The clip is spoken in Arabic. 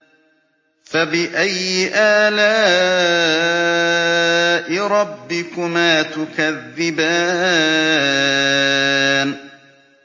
فَبِأَيِّ آلَاءِ رَبِّكُمَا تُكَذِّبَانِ